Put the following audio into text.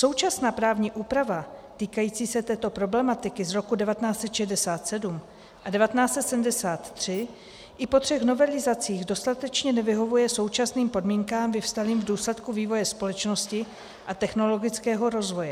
Současná právní úprava týkající se této problematiky z roku 1967 a 1973 i po třech novelizacích dostatečně nevyhovuje současným podmínkám vyvstalým v důsledku vývoje společnosti a technologického rozvoje.